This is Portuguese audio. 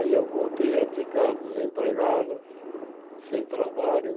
Aí eu voltei a ficar desempregado, sem trabalho.